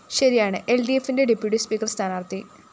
ശശിയാണ് എല്‍ഡിഎഫിന്റെ deputy speaker സ്ഥാനാര്‍ത്ഥി